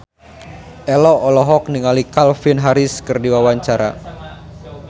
Ello olohok ningali Calvin Harris keur diwawancara